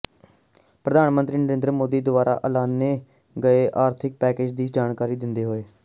ਪ੍ਰਧਾਨ ਮੰਤਰੀ ਨਰਿੰਦਰ ਮੋਦੀ ਦੁਆਰਾ ਐਲਾਨੇ ਗਏ ਆਰਥਿਕ ਪੈਕੇਜ ਦੀ ਜਾਣਕਾਰੀ ਦਿੰਦੇ ਹੋਏ